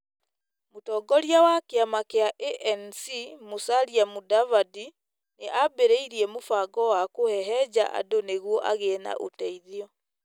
Mũtongoria wa kĩama kĩa ANC Musalia Mudavadi nĩ ambĩrĩirie mũbango wa kũhehenja andũ nĩguo agĩe na ũteithio.